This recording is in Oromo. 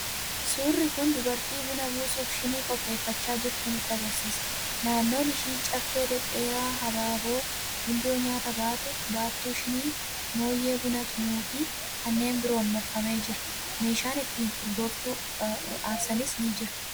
Suurri kun dubartii buna buusuuf shinii qopheeffachaa jirtu nutti argisiisa. Naannoon ishii caffee dhedheeraa, habaaboo, gundoo nyaata baatu, baattuu shinii, moonyee buna tumuu fi kanneen biroon marfamee jira. Meeshaan itti urgooftuu aarsanis ni jira.